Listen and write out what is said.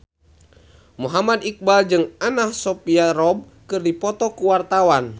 Muhammad Iqbal jeung Anna Sophia Robb keur dipoto ku wartawan